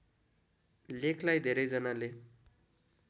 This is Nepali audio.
लेखलाई धेरैजनाले